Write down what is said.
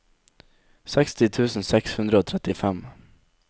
seksti tusen seks hundre og trettifem